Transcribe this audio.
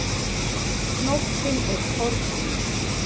Nóttin er kornung.